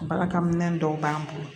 Balakɛminɛn dɔw b'an bolo